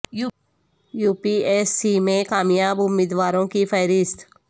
you P S C میں کامیاب امیدواروں کی فہرست